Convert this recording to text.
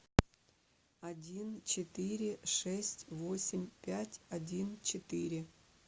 один четыре шесть восемь пять один четыре